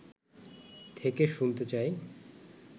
থেকে শুনতে চাই